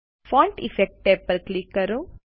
font effects tab પર click કરો